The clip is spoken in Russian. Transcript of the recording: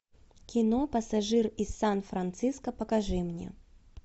кино пассажир из сан франциско покажи мне